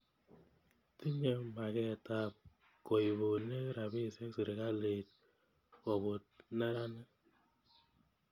Tinye maket ap koipune ropisyek sirikalit koput meranik.